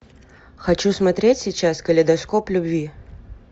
хочу смотреть сейчас калейдоскоп любви